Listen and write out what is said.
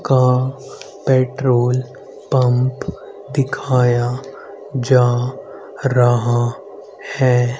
का petrol pump दिखाया जा रहा है।